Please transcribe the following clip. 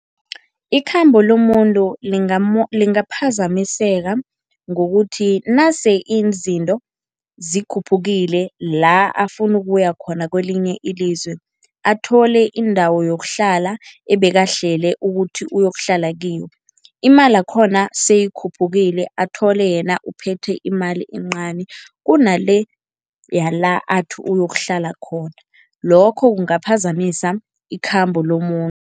Ikhambo lomuntu lingaphazamiseka ngokuthi nase izinto zikhuphukile la afuna ukuya khona kwelinye ilizwe, athole indawo yokuhlala ebekahlele ukuthi uyokuhlala kiyo, imali yakhona seyikhuphukile. Athole yena uphethe imali encani kunale yala athi uyokuhlala khona, lokho kungaphazamisa ikhambo lomuntu.